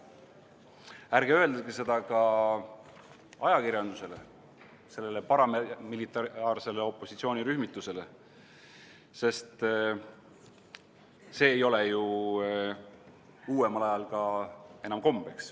Ärge öelge seda ka ajakirjandusele, sellele paramilitaarsele opositsioonirühmitusele, sest see ei ole ju uuemal ajal ka enam kombeks.